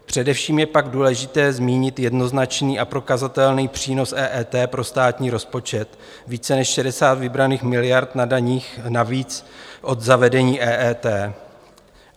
Především je pak důležité zmínit jednoznačný a prokazatelný přínos EET pro státní rozpočet více než 60 vybraných miliard na daních navíc od zavedení EET.